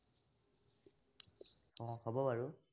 উম হব বাৰু।